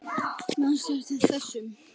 Manstu eftir þessum?